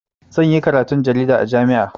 Zan yi karatun jarida a jami'a.